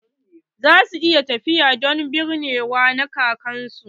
Za su yi tafiya don binnewa na kakan su.